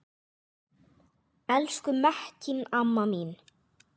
Elsku Mekkín amma mín.